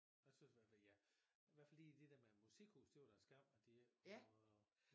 Jeg synes i hvert fald jeg i hvert fald lige det der med musikhus det var da en skam at det ikke kunne øhh